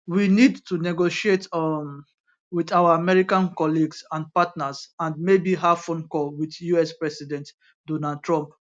we need to negotiate um wit our american colleagues and partners and maybe have phone call wit us president donald trump